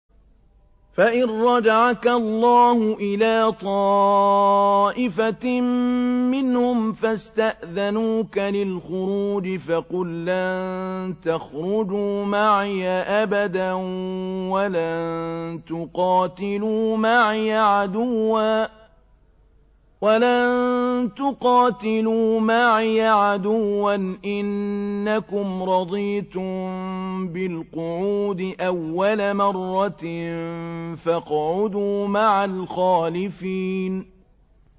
فَإِن رَّجَعَكَ اللَّهُ إِلَىٰ طَائِفَةٍ مِّنْهُمْ فَاسْتَأْذَنُوكَ لِلْخُرُوجِ فَقُل لَّن تَخْرُجُوا مَعِيَ أَبَدًا وَلَن تُقَاتِلُوا مَعِيَ عَدُوًّا ۖ إِنَّكُمْ رَضِيتُم بِالْقُعُودِ أَوَّلَ مَرَّةٍ فَاقْعُدُوا مَعَ الْخَالِفِينَ